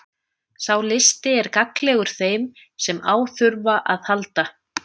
Sá listi er gagnlegur þeim sem á þurfa að halda.